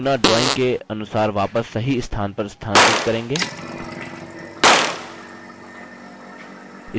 अब हम objects को अपनी नमूना drawing के अनुसार वापस सही स्थान पर स्थानांतरित करेंगे